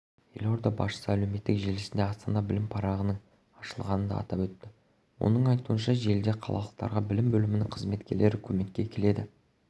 елорда басшысы әлеуметтік желісінде астана білімі парағының ашылғанын да атап өтті оның айтуынша желіде қалалықтарға білім бөлімінің қызметкерлері көмекке келеді